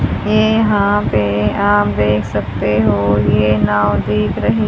ये यहां पे आप देख सकते हो ये नाव दिख रही--